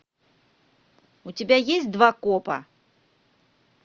у тебя есть два копа